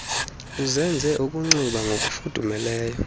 uzenze ukunxiba ngokufudumeleyo